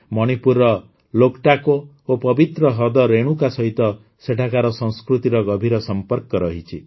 ମଣିପୁରର ଲୋକଟାକୋ ଓ ପବିତ୍ର ହ୍ରଦ ରେଣୁକା ସହିତ ସେଠାକାର ସଂସ୍କୃତିର ଗଭୀର ସମ୍ପର୍କ ରହିଛି